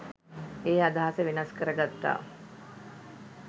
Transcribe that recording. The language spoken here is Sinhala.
ඒ අදහස වෙනස් කර ගත්තා.